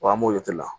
Wa an b'o kɛ la